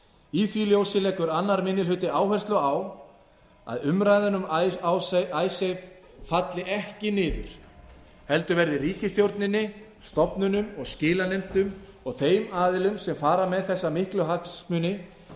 í því ljósi leggur annar minni hluti áherslu á að umræðan um icesave falli ekki niður heldur verði ríkisstjórninni stofnunum og skilanefndum og þeim aðilum sem fara með þessa miklu hagsmuni